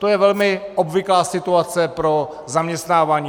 To je velmi obvyklá situace pro zaměstnávání.